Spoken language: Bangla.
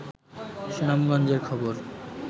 সুনামগঞ্জের খবর